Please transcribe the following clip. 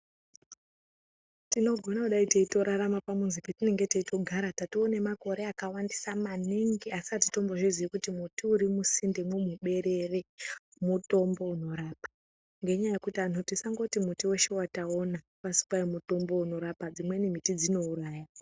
Tinogona kudai teitorarama pamuzi petienge teitogara tatanemakore akawandisa maningi asi atizvizii kuti muti uri musindemwo muberere mutombo unorapa, ngenyaya yekuti antu tisangoti muti weshe wataona kwazi kwai mutombo unorapa dzimweni miti dzinouraya